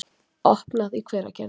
opnað í Hveragerði.